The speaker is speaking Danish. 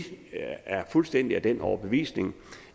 er fuldstændig af den overbevisning